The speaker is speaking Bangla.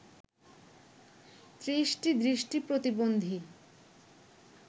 ৩০টি দৃষ্টি প্রতিবন্ধী